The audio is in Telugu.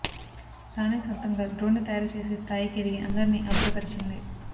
తానే సొంతంగా డ్రోన్ను తయారు చేసే స్థాయికి ఎదిగి అందరినీ అబ్బురపరిచింది